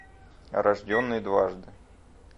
рожденный дважды